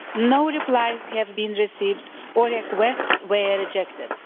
No replies have been received, or requests were rejected.